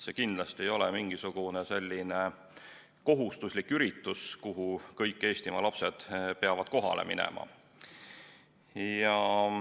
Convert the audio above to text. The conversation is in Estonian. See kindlasti ei ole mingisugune kohustuslik üritus, kuhu kõik Eestimaa lapsed peavad kohale minema.